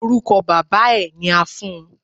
Orúkọ bàbáa ẹ ni a fún un.